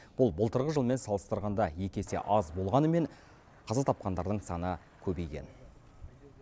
бұл былтырғы жылмен салыстырғанда екі есе аз болғанымен қаза тапқандардың саны көбейген